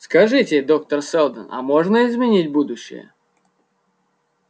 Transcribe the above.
скажите доктор сэлдон а можно изменить будущее